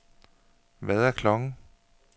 Hvad er klokken